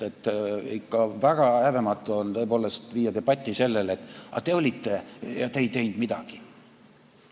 Ikka väga häbematu on viia debatti sellele, et aga teie olite võimul ja te ei teinud midagi.